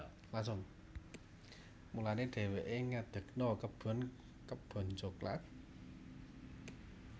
Mulané dhéwéké ngedegna kebon kebon coklat